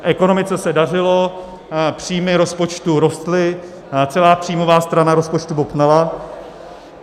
Ekonomice se dařilo, příjmy rozpočtu rostly, celá příjmová strana rozpočtu bobtnala.